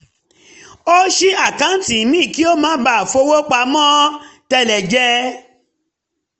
ó ṣí àkáǹtì míì kí ó má bàa fowó pamọ́ tẹ́lẹ̀ jẹ